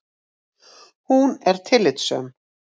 Hún er tillitssöm.